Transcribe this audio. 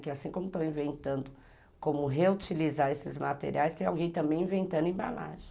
Que assim como estão inventando como reutilizar esses materiais, tem alguém também inventando embalagem.